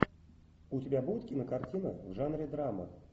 у тебя будет кинокартина в жанре драма